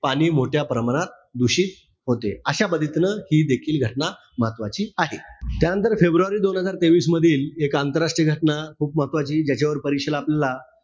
पाणी मोठ्या प्रमाणात दूषित होते. अशा पद्धतीनं हि देखील घटना महत्वाची आहे. त्यानंतर फेब्रुवारी दोन हजार तेवीस मधील, एक आंतरराष्ट्रीय घटना खूप महत्वाची. याच्यावर परीक्षेला आपल्याला,